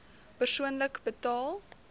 persoonlik betaal